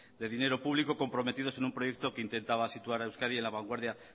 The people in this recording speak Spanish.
de dinero público comprometidos en un proyecto que intentaba situar a euskadi en la vanguardia